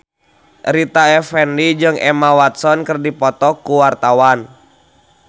Rita Effendy jeung Emma Watson keur dipoto ku wartawan